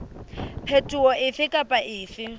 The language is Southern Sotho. phetoho efe kapa efe e